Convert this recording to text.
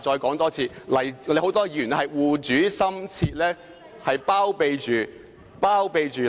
剛才謝偉俊議員說"護主心切"，他有否這樣說？